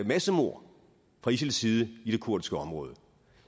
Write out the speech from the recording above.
massemord fra isils side i det kurdiske område